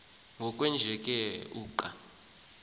ngokwenjenje ke uqa